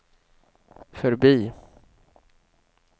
förbi